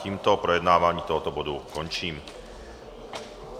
Tímto projednávání tohoto bodu končím.